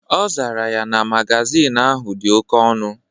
Ọ zara ya na magazin ahụ dị oke ọnụ.